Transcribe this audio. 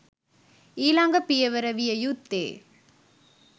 ඊළඟ පියවර විය යුත්තේ